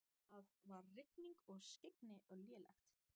Það var rigning og skyggni lélegt.